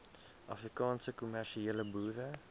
afrikaanse kommersiële boere